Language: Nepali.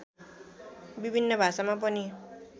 विभिन्न भाषामा पनि